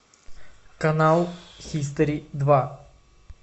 канал хистори два